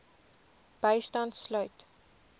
bystand sluit